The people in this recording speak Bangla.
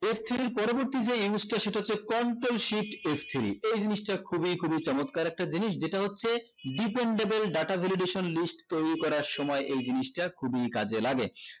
f three র পরবর্তী যে use টা সেটা হচ্ছে control shift f three এই জিনিসটা খুবি খুবি চমৎকার একটা জিনিস যেটা হচ্ছে dependable data validation list তৈরী করার সময় এই জিনিসটা খুবি কাজে লাগে